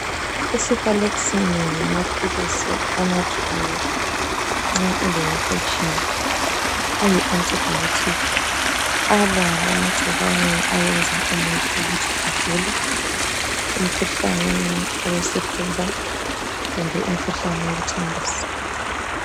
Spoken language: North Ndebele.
Icefalexin ngamaphilizi anathwayo nxa ule infection ayi antibiotic alwa lamagcikwane ayenza umuntu ukuthi agule umkhuhlane wesifuba kumbe umkhuhlane wokuthambisa.